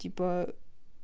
типа